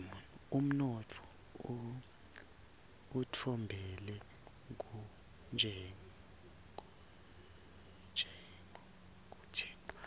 unotfo utfembele kuntshengo